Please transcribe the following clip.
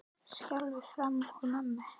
Skjálftinn farinn úr mönnum?